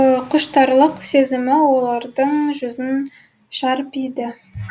құштарлық сезімі олардың жүзін шарпиды